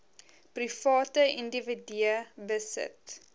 private individue besit